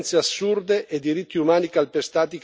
Non è più tollerabile questa situazione.